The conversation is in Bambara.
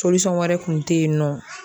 wɛrɛ kun tɛ yen nɔ